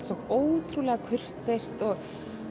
svo ótrúlega kurteist og